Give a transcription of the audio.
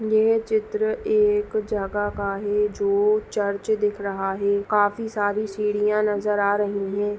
यह चित्र एक जगह का है जो चर्च दिख रहा है काफी सारी सीढ़िया नजर आ रही है।